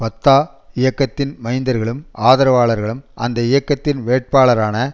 Fatah இயக்கத்தின் மைந்தர்களும் ஆதரவாளர்களும் அந்த இயக்கத்தின் வேட்பாளரான